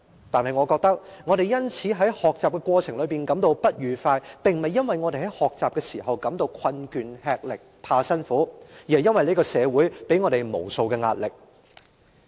但我覺得，我們因此在學習的過程感到不愉快，並不是因為我們在學習時感到困倦吃力、怕辛苦，而是這個社會給我們無數的壓力。